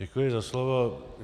Děkuji za slovo.